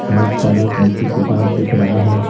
बहुत सारा कॉपी किताब दिख रहा है।